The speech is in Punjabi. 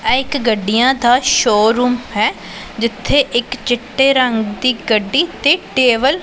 ਏਹ ਇੱਕ ਗੱਡੀਆਂ ਦਾ ਸ਼ੋਰੂਮ ਹੈ ਜਿੱਥੇ ਇੱਕ ਚਿੱਟੇ ਰੰਗ ਦੀ ਗੱਡੀ ਤੇ ਟੇਬਲ --